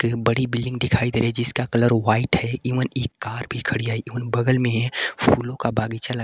बड़ी बिल्डिंग दिखाई दे रही जिसका कलर व्हाइट है एवं एक कार भी खड़ी है एवं बगल में फूलों का बगीचा लग--